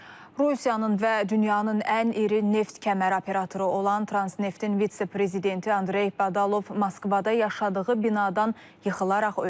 Rusiyanın və dünyanın ən iri neft kəməri operatoru olan Transneftin vitse-prezidenti Andrey Badalov Moskvada yaşadığı binadan yıxılaraq ölüb.